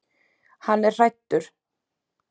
Hann er hræddur.